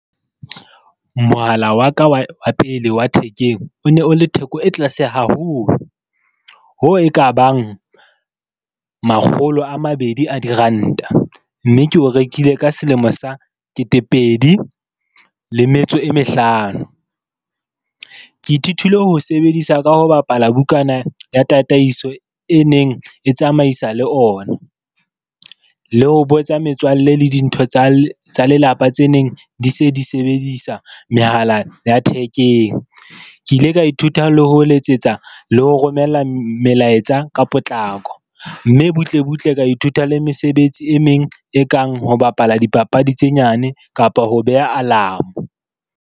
Mohala wa ka wa pele wa thekeng o ne o le theko e tlase haholo, ho e ka bang makgolo a mabedi a diranta, mme ke o rekile ka selemo sa ketepedi le metso e mehlano. Ke ithutile ho sebedisa ka ho bapala bukana ya tataiso e neng e tsamaisa le ona, le ho botsa metswalle le dintho tsa lelapa tse neng di se di sebedisa mehala ya thekeng. Ke ile ka ithuta le ho letsetsa le ho romella melaetsa ka potlako, mme butle butle ka ithuta le mesebetsi e meng, e kang ho bapala dipapadi tse nyane kapa ho beha alarm-o.